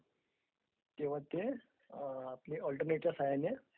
तेव्हा ते अल्टर्नेटच्या साहाय्याने